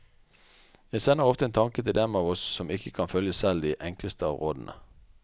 Jeg sender ofte en tanke til dem av oss som ikke kan følge selv de enkleste av rådene.